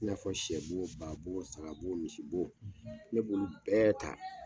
I n'a fɔ sɛ bo, ba bo, saga bo misi bo, ne b'olo bɛɛ ta.